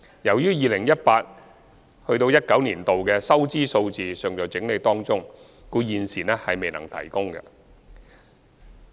由於 2018-2019 年度的收支數字尚在整理中，故此現時未能提供。